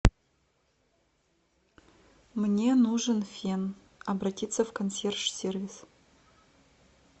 мне нужен фен обратиться в консьерж сервис